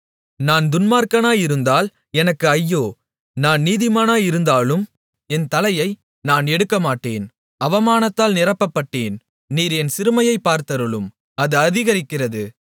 நான் துன்மார்க்கனாயிருந்தால் எனக்கு ஐயோ நான் நீதிமானாயிருந்தாலும் என் தலையை நான் எடுக்கமாட்டேன் அவமானத்தால் நிரப்பப்பட்டேன் நீர் என் சிறுமையைப் பார்த்தருளும் அது அதிகரிக்கிறது